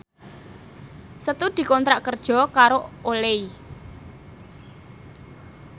Setu dikontrak kerja karo Olay